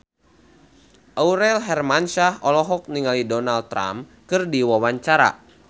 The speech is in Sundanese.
Aurel Hermansyah olohok ningali Donald Trump keur diwawancara